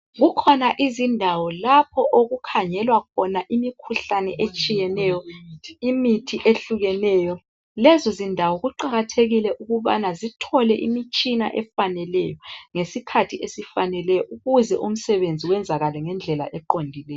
Kukhona iziñdawo lapho okukhangelwa khona imikhuhlane etshiyeneyo lemithi ehlukeneyo. Lezo zindawo kuqakathekile ukubana zithole imitshina efaneleyo, ngesikhathi esifaneleyo, ukuze umsebenzi wenzakale ngendlela eqondileyo.